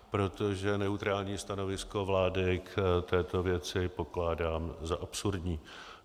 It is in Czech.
Protože neutrální stanovisko vlády k této věci pokládám za absurdní.